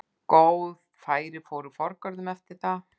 Góð færi fóru forgörðum eftir það.